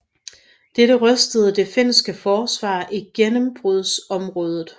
Dette rystede det finske forsvar i gennembrudsområdet